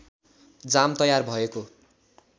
जाम तयार भएको